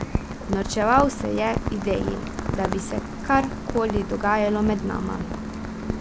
Norčeval se je ideji, da bi se kar koli dogajalo med nama.